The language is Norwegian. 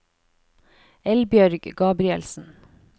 Eldbjørg Gabrielsen